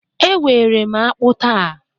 Ewere m akpu taa